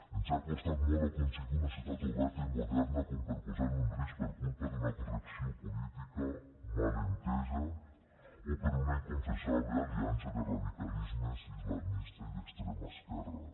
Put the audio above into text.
ens ha costat molt aconseguir una societat oberta i moderna com per a posar lo en risc per culpa d’una correcció política mal entesa o per una inconfessable aliança de radicalismes islamista i d’extrema esquerra